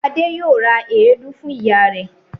Adé yóò ra èédú fún ìyá rẹ̀.